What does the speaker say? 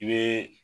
I bɛ